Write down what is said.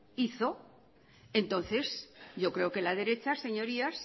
hizo entonces yo creo que la derecha